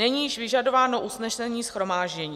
Není již vyžadováno usnesení shromáždění.